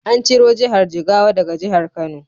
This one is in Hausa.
An ciro Jihar Jigawa daga Jihar Kano.